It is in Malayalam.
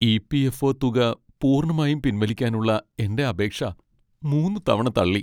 ഇ.പി.എഫ്.ഒ. തുക പൂർണ്ണമായും പിൻവലിക്കാനുള്ള എന്റെ അപേക്ഷ മൂന്ന് തവണ തള്ളി.